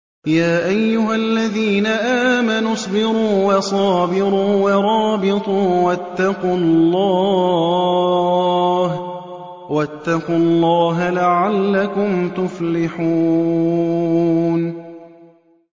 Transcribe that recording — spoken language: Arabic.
يَا أَيُّهَا الَّذِينَ آمَنُوا اصْبِرُوا وَصَابِرُوا وَرَابِطُوا وَاتَّقُوا اللَّهَ لَعَلَّكُمْ تُفْلِحُونَ